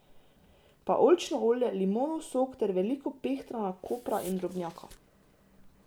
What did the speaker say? Pa oljčno olje, limonov sok ter veliko pehtrana, kopra in drobnjaka.